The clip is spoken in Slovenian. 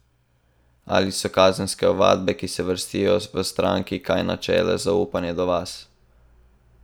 Ali so kazenske ovadbe, ki se vrstijo, v stranki kaj načele zaupanje do vas?